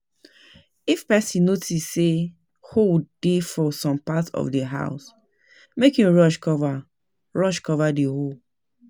If person notice sey hole dey for some parts of di house make im rush cover rush cover di hole